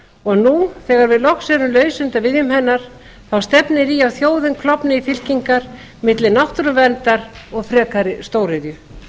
og nú þegar við loks erum laus undan viðjum hennar stefnir í að þjóðin klofni í fylkingar milli náttúruverndar og frekari stóriðju